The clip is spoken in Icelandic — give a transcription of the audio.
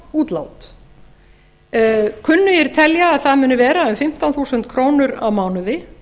töluvert fjárútlát kunnugir telja að það muni vera um fimmtán þúsund krónur á mánuði